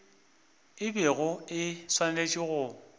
e bego e swanetše go